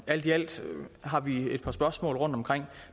alt i alt har vi et par spørgsmål rundtomkring